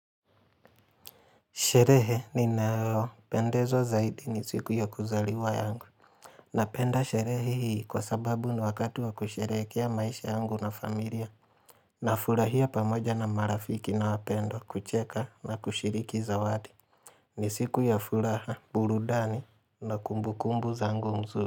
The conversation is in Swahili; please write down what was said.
Sherehe ninayo, penda zaidi ni siku ya kuzaliwa yangu. Napenda sherehe hii kwa sababu ni wakati wa kusherehekea maisha yangu na familia. Na furahia pamoja na marafiki na wapendwa, kucheka na kushiriki zawadi. Ni siku ya furaha burudani na kumbu kumbu zangu mzuri.